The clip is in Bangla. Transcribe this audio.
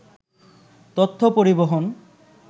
তথ্য পরিবহন